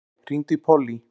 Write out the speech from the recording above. Valey, hringdu í Pollý.